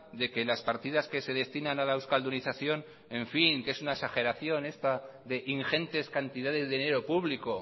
de que las partidas que se destinan a la euskaldunización en fin que es una exageración ingentes cantidades de dinero público